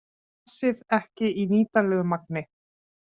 Gasið ekki í nýtanlegu magni